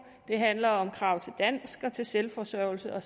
det handler om krav til dansk og til selvforsørgelse og